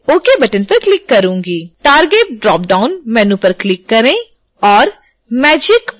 target drop down menu पर click करें और magick++ चुनें